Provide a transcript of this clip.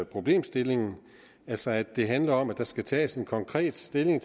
problemstillingen altså at det handler om at der skal tages konkret stilling